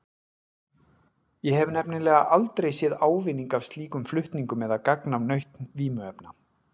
Ég hef nefnilega aldrei séð ávinning af slíkum flutningum eða gagn af nautn vímuefna.